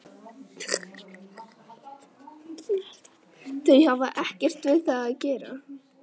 Þau hafa ekkert við það að gera